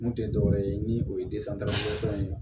Mun tɛ dɔwɛrɛ ye ni o ye ye